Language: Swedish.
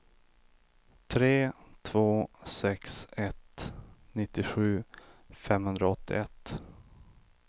tre två sex ett nittiosju femhundraåttioett